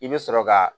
I bɛ sɔrɔ ka